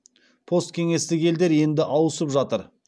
посткеңестік елдер енді ауысып жатыр